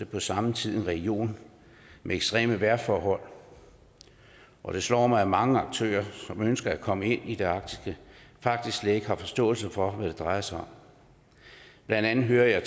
på samme tid en region med ekstreme vejrforhold og det slår mig at mange aktører som ønsker at komme ind i det arktiske faktisk slet ikke har forståelse for hvad drejer sig om blandt andet hører jeg